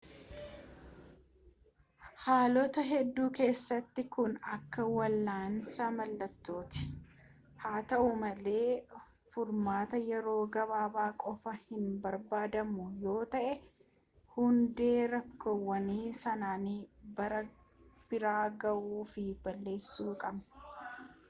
haalota hedduu keessatti kun akka wal'aansa mallattooti haa ta'u malee furmaata yeroo gabaabaa qofa hinbarbaannu yoo ta'e hundee rakkoowwan sanniinii bira ga'uu fi balleessuu qabna